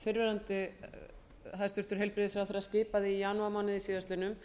fyrrverandi hæstvirtum heilbrigðisráðherra skipaði í janúarmánuði síðastliðnum